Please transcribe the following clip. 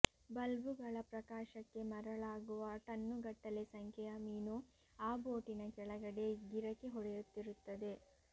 ಬಲ್ಬುಗಳ ಪ್ರಕಾಶಕ್ಕೆ ಮರಳಾಗುವ ಟನ್ನುಗಟ್ಟಲೆ ಸಂಖ್ಯೆಯ ಮೀನು ಆ ಬೋಟಿನ ಕೆಳಗಡೆ ಗಿರಕಿ ಹೊಡೆಯುತ್ತಿರುತ್ತದೆ